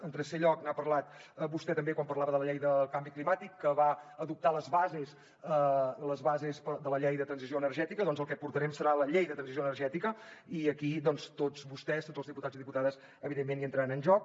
en tercer lloc n’ha parlat vostè també quan parlava de la llei del canvi climàtic que va adoptar les bases de la llei de transició energètica doncs el que portarem serà la llei de transició energètica i aquí tots vostès tots els diputats i diputades evidentment hi entraran en joc